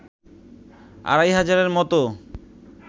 আড়াই হাজারের মতো